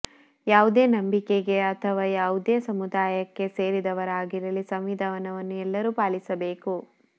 ಯಾವುದೇ ನಂಬಿಕೆಗೆ ಅಥವಾ ಯಾವುದೇ ಸಮುದಾಯಕ್ಕೆ ಸೇರಿದವರಾಗಿರಲಿ ಸಂವಿಧಾನವನ್ನು ಎಲ್ಲರೂ ಪಾಲಿಸಬೇಕು